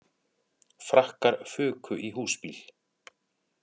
Frakkar fuku í húsbíl